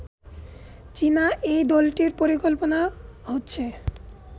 চীনা এই দলটির পরিকল্পনা হচ্ছে